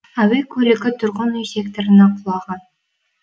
әуе көлігі тұрғын үй секторына құлаған